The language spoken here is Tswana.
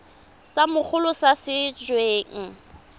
sa mogolo sa se weng